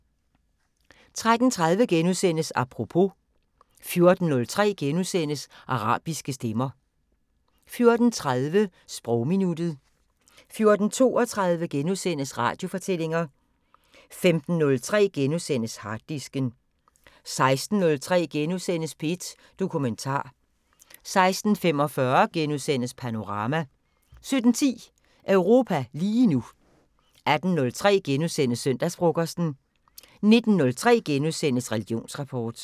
13:30: Apropos * 14:03: Arabiske stemmer * 14:30: Sprogminuttet 14:32: Radiofortællinger * 15:03: Harddisken * 16:03: P1 Dokumentar * 16:45: Panorama * 17:10: Europa lige nu 18:03: Søndagsfrokosten * 19:03: Religionsrapport *